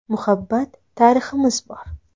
Muhabbat tariximiz bor.